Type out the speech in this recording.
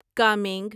coming